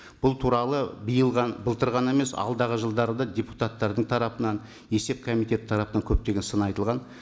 бұл туралы биыл былтыр ғана емес алдағы жылдары да депутаттардың тарапынан есеп комитеті тарапынан көптеген сын айтылған